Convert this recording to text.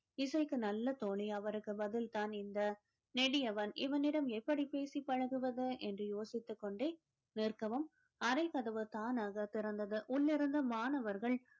இசைக்கு நல்ல தோனி அவருக்கு பதில்தான் இந்த நெடியவன் இவனிடம் எப்படி பேசி பழகுவது என்று யோசித்துக் கொண்டே நிற்கவும் அறை கதவு தானாக திறந்தது உள்ளிருந்து மாணவர்கள்